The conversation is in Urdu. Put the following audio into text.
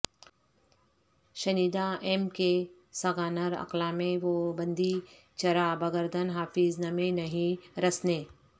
شنیدہ ام کہ سگانر اقلامے وہ بندی چرا بگردن حافظ نمے نہی رسنے